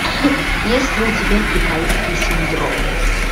есть ли у тебя китайский синдром